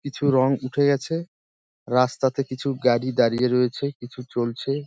কিছু রং উঠে গেছে | রাস্তাতে কিছু গাড়ি দাঁড়িয়ে রয়েছে কিছু চলছে।